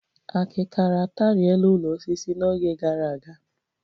Akịkara ataarịe la ụlọ osisi n'oge gara aga